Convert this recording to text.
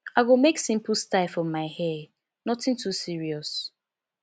i go make simple style for my hair nothing too serious